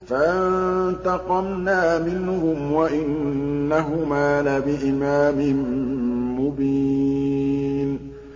فَانتَقَمْنَا مِنْهُمْ وَإِنَّهُمَا لَبِإِمَامٍ مُّبِينٍ